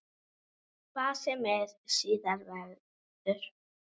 Hvað sem síðar verður.